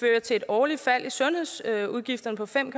til et årligt fald i sundhedsudgifterne på fem